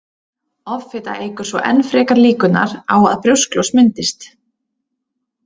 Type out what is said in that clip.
Offita eykur svo enn frekar líkurnar á að brjósklos myndist.